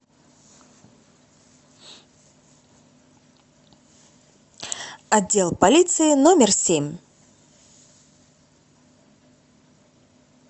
отдел полиции номер семь